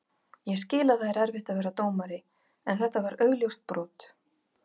Ég skil að það er erfitt að vera dómari en þetta var augljóst brot.